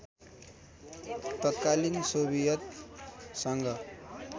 तत्कालीन सोभियत सङ्घ